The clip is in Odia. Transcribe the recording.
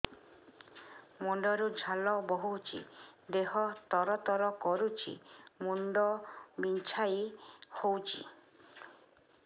ମୁଣ୍ଡ ରୁ ଝାଳ ବହୁଛି ଦେହ ତର ତର କରୁଛି ମୁଣ୍ଡ ବିଞ୍ଛାଇ ହଉଛି